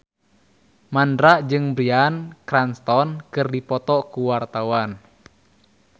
Mandra jeung Bryan Cranston keur dipoto ku wartawan